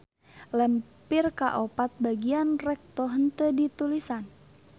Lempir kaopat bagian recto henteu ditulisan.